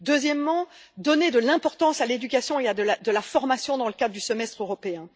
deuxièmement, donner de l'importance à l'éducation et à la formation dans le cadre du Semestre européen